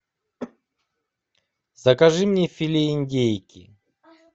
закажи мне филе индейки